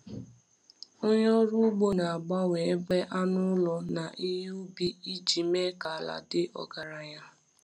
Onye ọrụ ugbo na-agbanwe ebe anụ ụlọ na ihe ubi iji mee ka ala dị ọgaranya.